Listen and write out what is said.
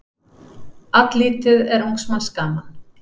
Alllítið er ungs manns gaman.